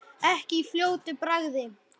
Ekki í fljótu bragði.